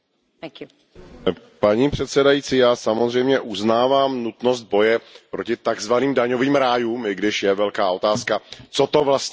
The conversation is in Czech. Paní předsedající, já samozřejmě uznávám nutnost boje proti takzvaným daňovým rájům, i když je velká otázka, co to vlastně je, daňový ráj.